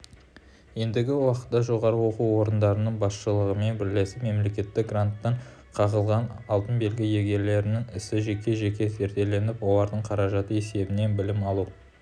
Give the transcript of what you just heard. ендігі уақытта жоғары оқу орындарының басшылығымен бірлесіп мемлекеттік гранттан қағылған алтын белгі иегерлерінің ісі жеке-жеке зерделеніп олардың қаражаты есебінен білім алу